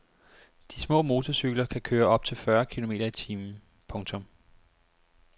De små motorcykler kan køre op til fyrre kilometer i timen. punktum